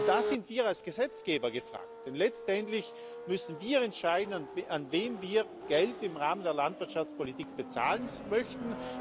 Da sind wir als Gesetzgeber gefragt, denn letztendlich müssen wir entscheiden, an wen wir Geld im Rahmen der Landwirtschaftspolitik bezahlen möchten.